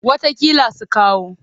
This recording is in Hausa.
Wataƙila su kawo.